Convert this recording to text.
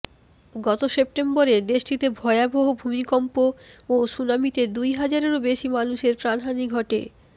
গত সেপ্টেম্বরে দেশটিতে ভয়াবহ ভূমিকম্প ও সুনামিতে দুই হাজারের বেশি মানুষের প্রাণহানি ঘটে